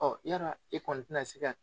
Ɔ yala e kɔni tɛna se ka